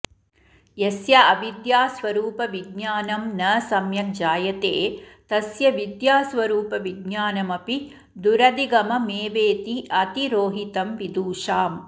यस्य अविद्यास्वरुपविज्ञानं न सम्यक् जायते तस्य विद्यास्वरुपविज्ञानमपि दुरधिगममेवेति अतिरोहितं विदुषाम्